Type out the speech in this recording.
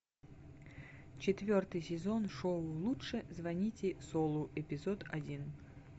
четвертый сезон шоу лучше звоните солу эпизод один